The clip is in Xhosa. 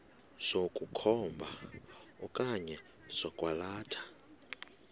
sokukhomba okanye sokwalatha